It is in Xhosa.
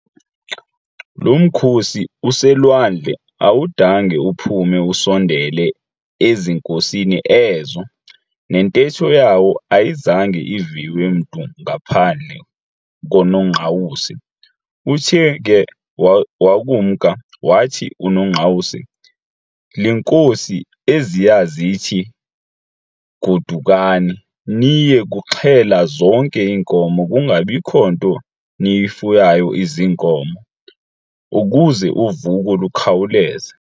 Loo mkhosi uselwandle awudange uphume usondele ezinkosini ezo, nentetho yawo ayizange iviwe mntu ngaphandle koNongqawuse. Uthe ke wakumka, wathi uNongqawuse-"Iinkosi eziya zithi, godukani niye kuxhela zonke iinkomo, kungabikho nto niyifuyayo iziinkomo, ukuze uvuko lukhawuleze.